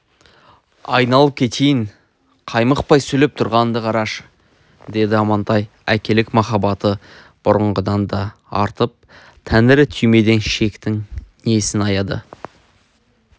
айналып кетейіннің қаймықпай сөйлеп тұрғанын қарашы деді амантай әкелік махаббаты бұрынғыдан да артып тәңірі түймедей шектің несін аяды